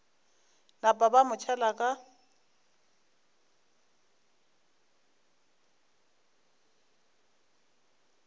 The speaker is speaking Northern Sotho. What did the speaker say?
napa ba mo tšhela ka